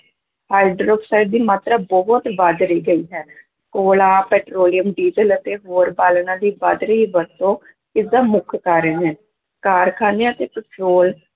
hydroxide ਦੀ ਮਾਤਰਾ ਬਹੁਤ ਵੱਧ ਰਹੀ ਗਈ ਹੈ, ਕੋਲਾ, ਪੈਟਰੋਲੀਅਮ, ਡੀਜ਼ਲ ਅਤੇ ਹੋਰ ਬਾਲਣਾਂ ਦੀ ਵੱਧ ਰਹੀ ਵਰਤੋਂ ਇਸਦਾ ਮੁੱਖ ਕਾਰਨ ਹੈ, ਕਾਰਖਾਨਿਆਂ ਤੇ ਪੈਟਰੋਲ